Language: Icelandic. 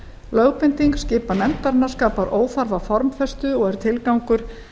lögbinding skipan nefndarinnar skapar óþarfa formfestu og er tilgangur